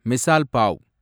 misal pav